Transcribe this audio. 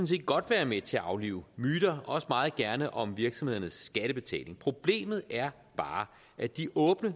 set godt være med til at aflive myter også meget gerne om virksomhedernes skattebetaling problemet er bare at de åbne